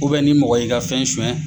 O ni mɔgɔ ɲi ka fɛn sonɲɛ